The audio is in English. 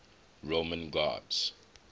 roman gods